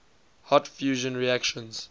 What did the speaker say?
hot fusion reactions